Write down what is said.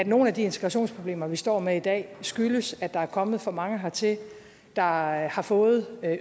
nogle af de integrationsproblemer vi står med i dag skyldes at der er kommet for mange hertil der har har fået